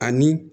Ani